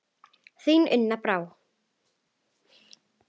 Þín, Una Brá.